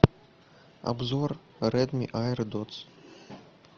обзор редми аэродотс